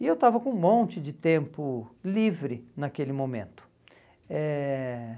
E eu estava com um monte de tempo livre naquele momento. Eh